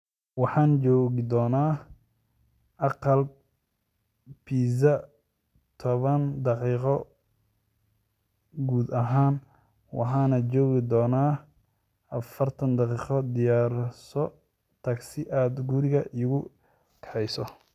Waxaan joogi doonaa aqal pizza toban daqiiqo gudahood waxaanan joogi doonaa afartan daqiiqo diyaarso tagsi aad guriga iigu kaxayso